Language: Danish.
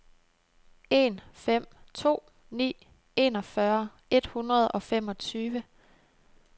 en fem to ni enogfyrre et hundrede og femogtyve